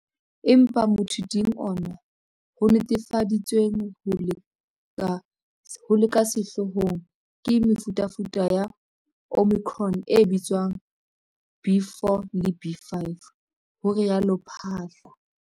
Empa motha ting ona, ho netefaditsweng ho le ka sehloohong ke mefutafuta ya Omicron e bitswang B.4 le B.5, ho rialo Phaahla.